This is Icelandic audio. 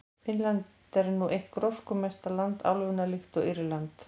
Finnland er nú eitt gróskumesta land álfunnar, líkt og Írland.